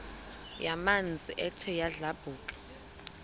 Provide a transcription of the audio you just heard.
yamanzi ethe yadlabhuka